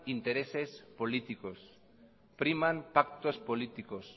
intereses políticos priman pactos políticos